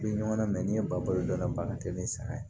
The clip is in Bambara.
I bɛ ɲɔgɔn namɛn ni ye balo dɔnna ba ka teli ni saga ye